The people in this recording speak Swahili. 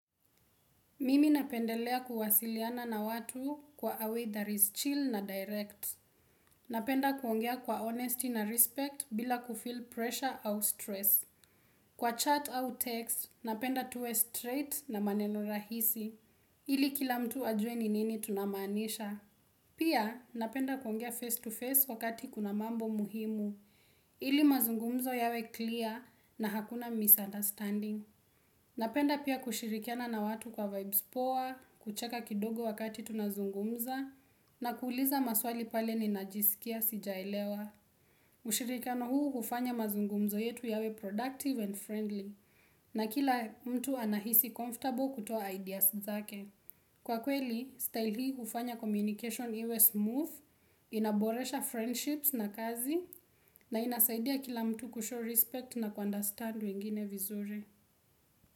Mimi napendelea kuwasiliana na watu kwa a way that is chill na direct. Napenda kuongea kwa honesty na respect bila kufeel pressure au stress. Kwa chat au text, napenda tuwe straight na maneno rahisi Ili kila mtu ajuwe ni nini tunamanisha. Pia, napenda kuongea face to face wakati kuna mambo muhimu. Ili mazungumzo yawe clear na hakuna misunderstanding. Napenda pia kushirikiana na watu kwa vibes poa, kucheka kidogo wakati tunazungumza, na kuuliza maswali pale ni najisikia sijaelewa. Ushirikano huu ufanya mazungumzo yetu yawe productive and friendly, na kila mtu anahisi comfortable kutoa ideas zake. Kwa kweli, style hii hufanya communication iwe smooth, inaboresha friendships na kazi, na inasaidia kila mtu kushow respect na ku understand wengine vizuri.